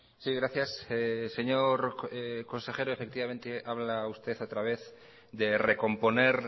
sí gracias señor consejero efectivamente habla usted otra vez de recomponer